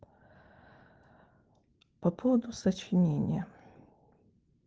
по поводу сочинения